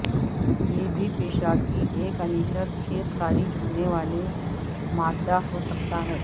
یہ بھی پیشاب کی ایک انیچرچھیک خارج ہونے والے مادہ ہو سکتا ہے